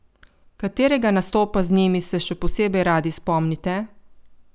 Katerega nastopa z njimi se še posebej radi spomnite?